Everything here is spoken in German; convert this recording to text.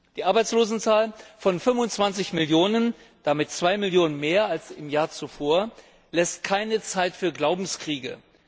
Die Arbeitslosenzahl von 25 Millionen damit 2 Millionen mehr als im Jahr zuvor lässt keine Zeit für Glaubenskriege.